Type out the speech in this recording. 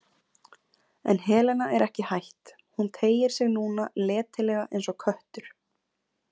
En Helena er ekki hætt, hún teygir sig núna letilega eins og köttur.